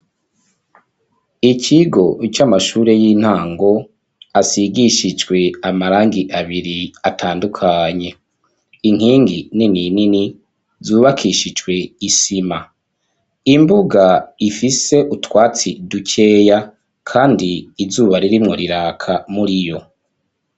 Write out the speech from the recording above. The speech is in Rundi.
ikigo c'amashure y'intango asigishijwe amarangi abiri atandukanye inkingi nini nini zubakishijwe isima, imbuga ifise utwatsi dukeya kandi izuba ririmwo riraka muriyo.